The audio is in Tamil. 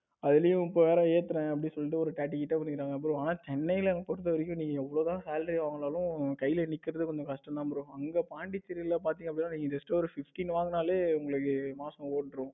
அதுலயும் இப்ப ஒரு ஏத்துறங்க அப்படின்னு சொல்லிட்டு ஒரு forty கிட்ட கொடுக்கிறாங்க bro ஆனா சென்னையில பொறுத்த வரைக்கும் நீங்க எவ்வளவுதான் salary வாங்கினாலும் உங்க கைல நிக்கறது ரொம்ப கஷ்டம் தான் bro அங்க பாண்டிச்சேரியில் பார்த்தீங்கன்னா just ஒரு sixteen வாங்கினாலே உங்களுக்குமாசம் ஓடிடும்.